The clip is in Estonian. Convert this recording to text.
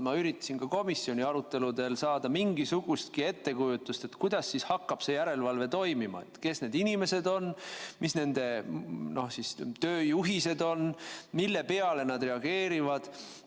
Ma üritasin komisjoni arutelude käigus saada mingisugustki ettekujutust, kuidas see järelevalve toimima hakkab – kes on need inimesed, mis on nende tööjuhised, mille peale nad reageerivad.